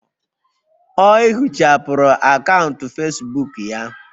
Ọ ehichapụrụ akaụntụ Facebook ya